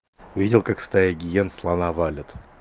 видел как стая гиен слона валят